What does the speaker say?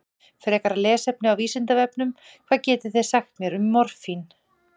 Frekara lesefni á Vísindavefnum: Hvað getið þið sagt mér um morfín?